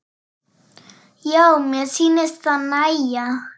Já, mér sýnist það nægja!